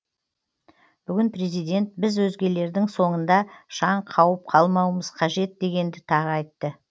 бүгін президент біз өзгелердің соңында шаң қауып қалмауымыз қажет дегенді тағы айтты